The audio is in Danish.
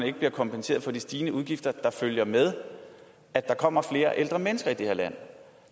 ikke bliver kompenseret for de stigende udgifter der følger med det at der kommer flere ældre mennesker i det her land